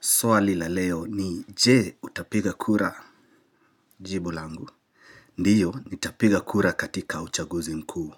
Swali la leo ni je utapiga kura jibu langu. Ndiyo, nitapiga kura katika uchaguzi mkuu.